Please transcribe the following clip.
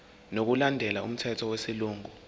ngokulandela umthetho wesilungu